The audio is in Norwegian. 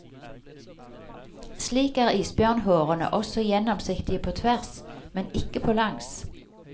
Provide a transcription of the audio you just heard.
Slik er isbjørnhårene også gjennomsiktige på tvers, men ikke på langs.